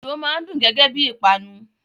Dòdò máa n dùn gẹgẹ bí ìpanu.